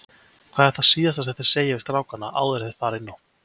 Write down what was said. Hvað er það síðasta sem þið segið við strákana áður enn þeir fara inn á?